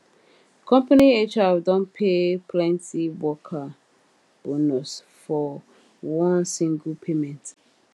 company hr don pay plenty worker bonus for one single payment